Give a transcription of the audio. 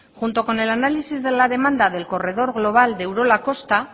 junto con el análisis de la demanda del corredor global de urola kosta